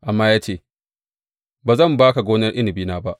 Amma ya ce, Ba zan ba ka gonar inabina ba.’